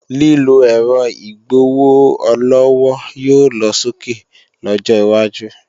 Lílọ ẹ̀rọ igbowó-ọlọ́wọ́ yóò lọsókè lọ́jọ́ wájú